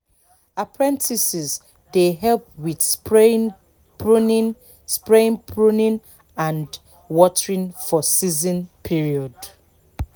apprentices dey help with spraying pruning spraying pruning and watering for season period